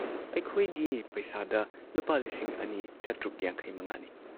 ꯑꯩꯈꯣꯏꯒꯤ ꯄꯩꯁꯥꯗ ꯂꯨꯄꯥ ꯂꯤꯁꯤꯡ ꯑꯅꯤ ꯆꯥꯇ꯭ꯔꯨꯛ ꯌꯥꯡꯈꯩꯃꯉꯥꯅꯤ